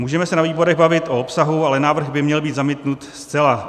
Můžeme se na výborech bavit o obsahu, ale návrh by měl být zamítnut zcela.